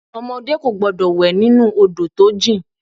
Ọmọdé kò gbọ́dọ̀ wẹ̀ nínú Odò tó jìn.